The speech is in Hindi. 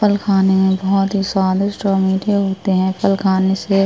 फल खाने में बोहोत ही स्वादिष्ट और मीठे होते हैं। फल खाने से --